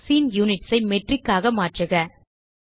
scene units ஐ metric ஆக மாற்றுக